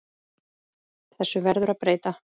Þessu verður að breyta!